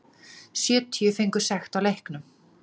Sjötíu fengu sekt á leiknum